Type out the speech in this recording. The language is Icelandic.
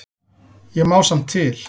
Ég má samt til.